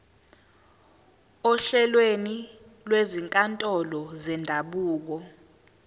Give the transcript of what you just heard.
ohlelweni lwezinkantolo zendabuko